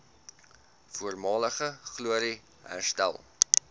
voormalige glorie herstel